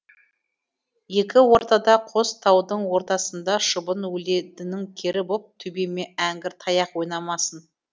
екі ортада қос таудың ортасында шыбын өледінің кері боп төбеме әңгір таяқ ойнамасын